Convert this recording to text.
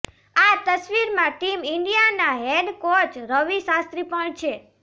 આ તસવીરમાં ટીમ ઇન્ડિયાના હેડ કોચ રવિ શાસ્ત્રી પણ છે